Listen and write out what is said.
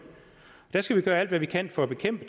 skal vi gøre alt hvad vi kan for at bekæmpe